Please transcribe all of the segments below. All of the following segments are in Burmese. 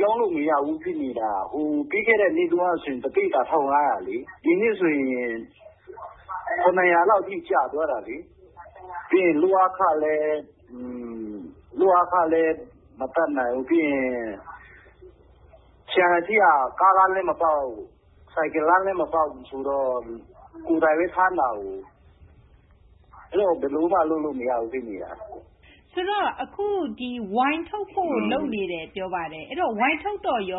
ရောင်းလို့ မရဘူး ဖြစ်နေတာ။ ပြီးခဲ့တဲ့ နှစ်တုန်းကဆို တပိဿာ ၁,၅၀၀ လေ၊ ဒီနှစ် ဆိုရင် ၇၀၀ လောက်ထိ ကျသွားတာလေ။ ပြီးရင် လုပ်အားခလည်း မတတ်နိုင်ဘူး။ ပြီးရင် ခြံ အထိက ကားလမ်းလည်း မပေါက်ဘူး။ ဆိုင်ကယ်လမ်းလည်း မပေါက်ဘူး ဆိုတော့ ကိုယ်တိုင်ဘဲ ထမ်းတာကိုး။ အဲတော့ ဘယ်လိုမှ လုပ်လို့ မရဘူး ဖြစ်နေတာ။ အခု ဝိုင် ထုတ်ဖို့ လုပ်နေတယ် ပြောပါတယ်။ ဝိုင် ထုတ်တော့ စပျ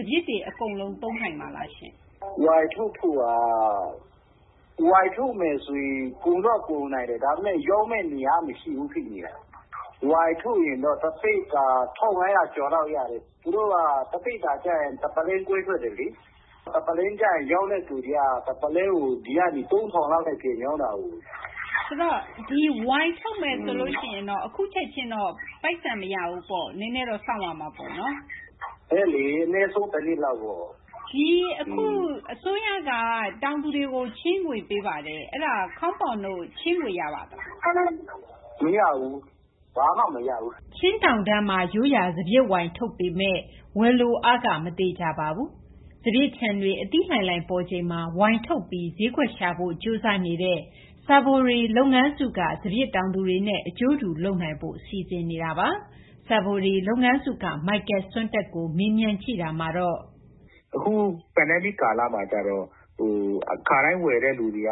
စ်တွေ အကုန် သုံးနိုင်မှာလားရှင့်။ ဝိုင်ထုတ်မယ် ဆိုရင် ကုန်တော့ ကုန်နိုင်တယ်။ ဒါပေမယ့် ရောင်းမယ့် နေရာ မရှိဘူး ဖြစ်နေတာ။ ဝိုင် ထုတ်ရင်တော့ တပိဿာ ၁,၅၀၀ ကျော်လောက် ရတယ်။ သူတို့က တပိဿာ လုပ်ရင် တပုလင်းခွဲ ထွက်တယ်လေ။ ရောင်းတဲ့သူတွေက တပုလင်းကို ဒီက လူတွေက ၃,၀၀၀ လောက်နဲ့ ရောင်းတာကိုး။ ဆိုတော့ ဒီ ဝိုင် ထုတ်မယ် ဆိုရင် အခု ချက်ချင်းတော့ ပိုက်ဆံ မရဘူးပေါ့။ နည်းနည်းတော့ စောင့်ရမှာပေါ့နော်။ အေးလေ။ အနည်းဆုံး ၁ နှစ်လောက်ပေါ့။ အစိုးရက အခု တောင်သူတွေကို ချေးငွေ ပေးပါတယ်။ အဲဒါ ခေါမ်ပေါင်တို့ ချေးငွေ ရပါသလား။ မရဘူး။ ဘာမှ မရဘူး။ အခု ကပ်ရောဂါ ကာလမှာ ခါတိုင်း ဝယ်တဲ့သူတွေက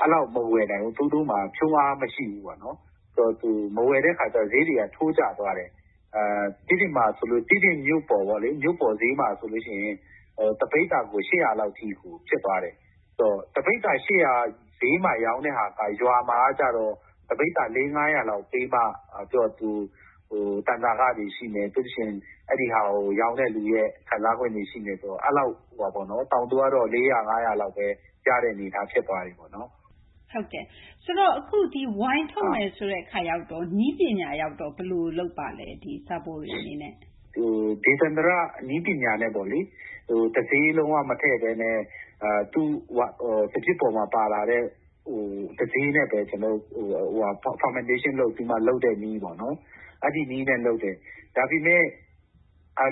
အဲလောက် မဝယ်နိုင်ဘူး။ သူတို့မှာ ဖြုန်းအား မရှိဘူးပေါ့နော်။ မဝယ်တဲ့ အခါကျတော့ ဈေးတွေက ထိုးကျသွားတယ်။ တီးတိန်မှာ ဆိုရင် တီးတိန် မြို့ပေါ်ဈေးမှာ ဆိုလို့ ရှိရင် တပိဿာကို ၈၀၀ လောက် အထိ ဖြစ်သွားတယ်။ တပိဿာ ၈၀၀ ဈေးမှာ ရောင်းတဲ့ဟာက ရွာမှာ ဆိုရင် တပိဿာ ၄၀၀ -၅၀၀ လောက် ပေးမှ သူ့ဟာ တန်ဆာခတွေ ရှိမယ်။ ပြီးရင် အဲဒါကို ရောင်းမယ့်သူရဲ့ ခံစားခွင့်တွေ ရှိမယ် ဆိုတော့ တောင်သူကတော့ ၄၀၀ -၅၀၀ လောက်ဘဲ ရတဲ့ အနေအထား ဖြစ်သွားပြီပေါ့နော်။ ဟုတ်ကဲ့ အခု ဝိုင်ထုတ်မယ်ဆိုတဲ့ အခါကျတော့ နည်းပညာ ကို ဘယ်လို လုပ်ပါလဲ။ Savory အနေနဲ့။ ဒေသန္တရ နည်းပညာနဲ့ပေါ့လေ တဆေး လုံး၀ မထည့်ဘဲနဲ့ စပျစ်ပေါ်မှာ ပါလာတဲ့ တဆေးနဲ့ဘဲ ကစော်ဖောက်တဲ့ နည်းပေါ့။ အဲဒီနည်းနဲ့ လုပ်တယ်။ ဒါပေမယ့်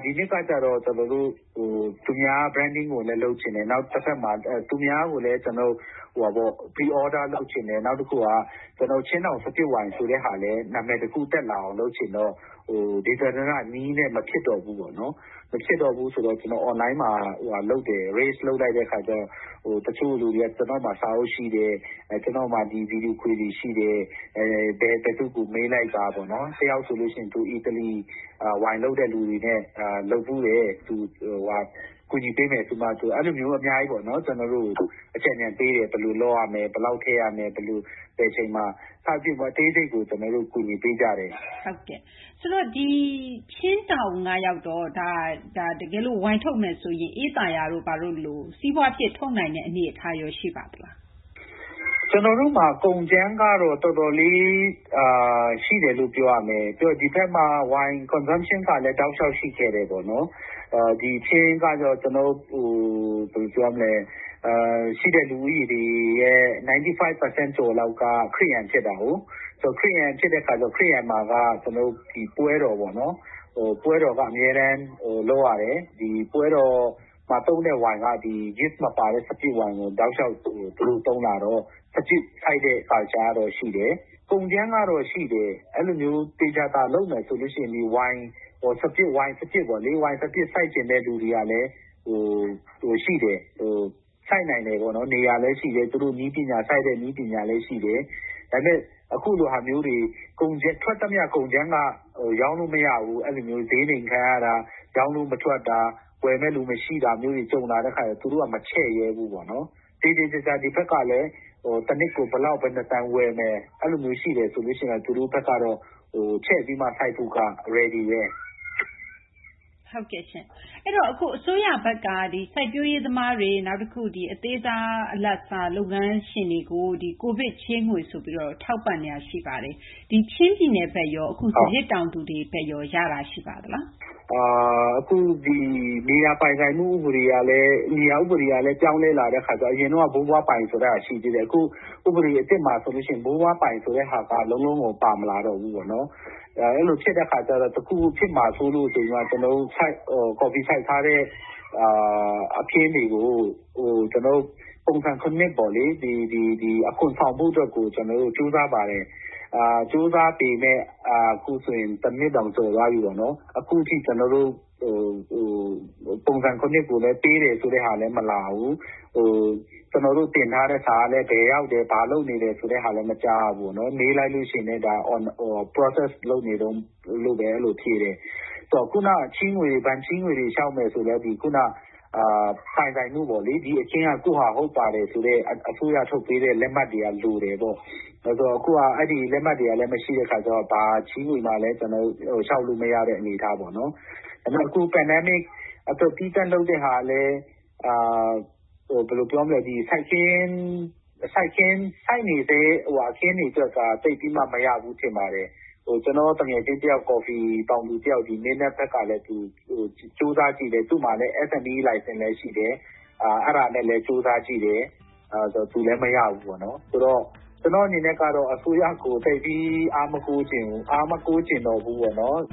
ဒီနှစ်က ကျတော့ အမှတ်တံဆိပ်နဲ့လည်း လုပ်ချင်တယ် အကြို အမှာတွေလည်း ပေးချင်တယ် နောက်တခုက ချင်းတောင် စပျစ်ဝိုင် ဆိုတဲ့ ဟာလည်း နာမည် တခု တက်လာအောင် လုပ်ချင်တော့ ဒေသန္တရ နည်းနဲ့ မဖြစ်တော့ဘူး ပေါ့နော်။ မဖြစ်တော့ဘူး ဆိုတော့ ကျနော် အွန်လိုင်းမှာ တင်လိုက်တဲ့ အခါကျတော့ တချို့ လူတွေက ကျနော့်မှာ စာအုပ်ရှိတယ်။ ကျနော့်မှာ ဒီ ဗွီဒီယို ခွေတွေ ရှိတယ်။ ဘယ်သူ့ကို မေးလိုက်ပါပေါ့နော်။ တယောက်ဆိုလို့ ရှိရင် သူ အီတလီ ဝိုင်လုပ်တဲ့ လူတွေနဲ့ လုပ်ဖူးတယ်။ သူ ကူညီပေးမယ်ဆိုပြီးမှ အဲလိုမျိုး အများကြီးပေါ့နော် ကျနော်တို့ကို အကြံညဏ်ပေးတယ်။ ဘယ်လို လုပ်ရမယ် ဘယ်လောက် ထည့်ရမယ် ဘယ်အချိန်မှာ စသဖြင့် အသေးစိတ်ကို ကျနော်တို့ကို အကူအညီပေးကြတယ်။ အဲတော့ ချင်းတောင် ကရော တကယ်လို့ ဝိုင် ထုတ်မယ် ဆိုရင် အေးသာယာတို့လို စီးပွားဖြစ် ထုတ်နိုင်တဲ့ အနေအထား ရော ရှိပါသလား။ ကျနော်တို့မှာ ကုန်ကြမ်းကတော့ တော်တော်လေး ရှိတယ်လို့ ပြောရမယ်။ ပြီးတော့ ဒီဘက်မှာ ဝိုင် သောက်သုံးမှုကလည်း တောက်လျှောက် ရှိခဲ့တယ်ပေါ့နော်။ ကျနော်တို့ ချင်းမှာတော့ ရှိတဲ့ လူဦးရေရဲ့ ၉၅ ရာခိုင်နှုန်းကျော် လောက်က ခရစ်ယာန် ဖြစ်တာကိုး။ ခရစ်ယာန်မှာက ကျနော်တို့ ပွဲတော်ပေါ့နော် အမြဲတမ်း လုပ်ရတယ်။ ပွဲတော်မှာ သုံးတဲ့ ဝိုင်က တဆေး မပါတဲ့ စပျစ်ဝိုင် ကို တောက်လျှောက် သုံးလာတော့ စပျစ် စိုက်တဲ့ အလေ့အထတော့ ရှိတယ်။ ကုန်ကြမ်းကတော့ ရှိတယ်။ အဲလိုမျိုး သေသေချာချာ လုပ်မယ်ဆိုရင် ဝိုင် စပျစ် စိုက်ချင်သူတွေလည်း ရှိတယ်။ နေရာလည်း ရှိတယ်။ သူတို့ နည်းပညာလည်း ရှိတယ်။ ဒါပေမယ့် အခုလို ထွက်သမျှ ကုန်ကြမ်းက ရောင်းလို့ မရဘူး ဈေးနှိမ် ခံရတာ၊ ရောင်းလို့ မထွက်တာ၊ ဝယ်မယ့်သူ မရှိတာမျိုးတွေ ကြုံလာတဲ့ အခါကျတော့ သူတို့က မချဲ့ရဲဘူးပေါ့နော်။ သေသေချာချာ ဒီဘက်ကလည်း တနှစ်ကို ဘယ်လောက် ဘယ်နှ တန် ဝယ်မယ်၊ အဲလိုမျိုး ရှိမယ်ဆိုရင်တော့ သူတို့ဘက်က ချဲ့ပြီးတော့ စိုက်ဖို့က အဆင်သင့်ဘဲ။ ဟုတ်ကဲ့ရှင့်။ အဲဒီတော့ အစိုးရဘက်က စိုက်ပျိုးရေး သမားတွေ၊ အသေးစား အလတ်စား စီးပွားရေး လုပ်ငန်းတွေကို COVID ချေးငွေ ဆိုပြီး ထောက်ပံ့နေတာ ရှိပါတယ်။ ဆိုတော့ ချင်း ပြည်နယ် ဘက်ရော ဒီ စပျစ် တောင်သူတွေ ဘက်ရော ရတာ ရှိပါသလား။ အခု ဒီ မြေယာ ပိုင်ဆိုင်မှု ဥပဒေကလည်း ပြောင်းလဲ လာတဲ့ အခါကျတော့ အရင်တုန်းက ဘိုးဘွားပိုင် ဆိုတာ ရှိသေးတယ်။ အခု ဥပဒေသစ်မှာ ဘိုးဘွား ပိုင် ဆိုတာ လုံးလုံးကို ပါမလာတော့ဘူး။ အဲလို ဖြစ်တဲ့ အခါကျတော့ တခုခု ဖြစ်မှာ စိုးလို့ ကျနော်တို့ ကော်ဖီ စိုက်ထားတဲ့ အခင်းတွေကို ကျနော်တို့ ပုံစံ ၇ ပေါ့လေ ဒီ အခွန် ဆောင်ဖို့ အတွက်ကို ကျနော်တို့ ကြိုးစားပါတယ်။ ကြိုးစားပေမယ့် အခုဆိုရင် တနှစ်တောင် ကျော်သွားပြီပေါ့နော်။ အခုထိ ကျနော်တို့ကို ပုံစံ ၇ ကိုလည်း ပေးတယ်ဆိုတာလည်း မလာဘူး။ ကျနော်တို့ တင်ထားတဲ့ စာကလည်း ဘယ်ရောက်တယ် ဘာလုပ်နေတယ် ဆိုတာလည်း မကြားရဘူးပေါ့နော်။ မေးလိုက်တဲ့ အခါလည်း ဒါ လုပ်နေတုန်း လို့ဘဲ ဖြေတယ်။ ဆိုတော့ ခုန ဘဏ် ချေးငွေတွေ လျှောက်မယ် ဆိုလည်း ပိုင်ဆိုင်မှုပေါ့လေ။ ဒီ အခင်းက ကိုယ့်ဟာ ဟုတ်ပါတယ်ဆိုတဲ့ အစိုးရ ထုတ်ပေးတဲ့ လက်မှတ်တွေက လိုတယ်ပေါ့။ အခုဟာ အဲဒီ လက်မှတ်တွေကလည်း မရှိတဲ့ အခါကျတော့ ဘာချေးငွေမှ ကျနော်တို့ လျှောက်လို့ မရတဲ့ အနေအထား ပေါ့နော်။ ဒါပေမယ့် အခု ကပ်ဘေး ကာလ အတွက် သီးသန့် လုပ်တဲ့ ဟာကလည်း ဘယ်လို ပြောမလဲ ဒီ စိုက်နေဆဲ အခင်းတွေ အတွက်က သိပ်ပြီးမှ မရဘူး ထင်ပါတယ်။ ကျနော့် သူငယ်ချင်း ကော်ဖီ တောင်သူ တယောက် ဒီနှစ် မင်းတပ် ဘက်ကဘဲ သူလည်း ကြိုးစားကြည့်တယ်။ သူ့မှာ စိုက်ပျိုးခွင့် လိုင်စင်လည်း ရှိတယ်။ အဲဒါနဲ့လည်း ကြိုးစားကြည့်တယ်။ သူလည်း မရဘူးပေါ့နော်။ ကျနော့် အနေနဲ့တော့ အစိုးရကို အားမကိုးချင်ဘူး။ အားမကိုးချင်တော့ဘူးပေါ့နော်